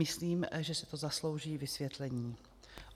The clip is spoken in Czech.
Myslím, že si to zaslouží vysvětlení.